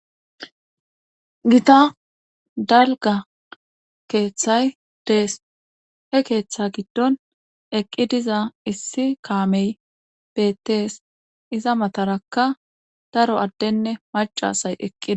Gita dalga keeththay dees he keeththa giddon eqqi diza issi kaamey bettees iza matarakka daro addenne macasay eqqida.